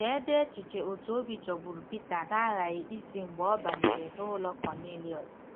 Cheedị echiche otú obi jọgburu Pita na-aghaghị isi mgbe ọ banyere n'ụlọ Kọnịliọs.